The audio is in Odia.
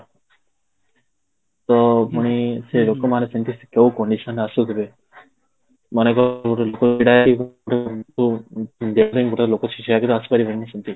ତ ପୁଣି ଲୋକ ମାନେ ସେମିତି ଯୋଉ condition ରେ ଆସୁଥିବେ, ମନେ କର ଗୋଟେ ଲୋକ ଛିଡା ଗୋଟେ ଲୋକ ସେ ଦିନ ଆସିପାରିବନି ସେମିତି